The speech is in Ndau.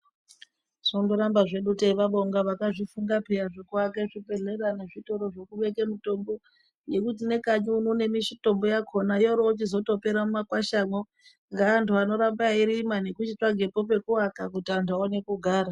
Tongoramba hedu teivabonga peya vakazvifunga zvekuaka zvibhehlera nezvitoro zvekubeka mitombo. Hino nemukanyi muno mitombo yorochitpera nemumakwashamwo neantu anoramba eyirima nekuaka kuti antu awone kugara.